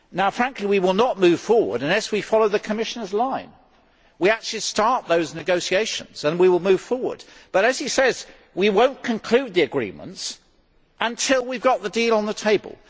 Frankly, we will not move forward unless we follow the Commission's line we actually start those negotiations and we will move forward, but as he says, we will not conclude the agreements until we have got the deal on the table.